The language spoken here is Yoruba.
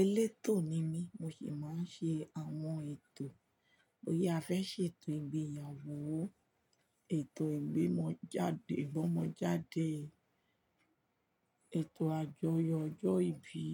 Elétò ni mí, mo sì máa ń ṣe àwọn ètò. Boya a fẹ́ ṣe ètò ìgbéyàwó, ètò ìgbómọjáde, ètò àjọyọ̀ ọjọ́ ìbí.